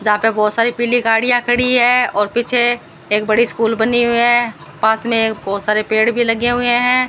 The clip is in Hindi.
यहां पे बहुत सारी पीली गाड़ियां खड़ी है और पीछे एक बड़ी स्कूल बनी हुई है पास में एक बहुत सारे पेड़ भी लगे हुए हैं।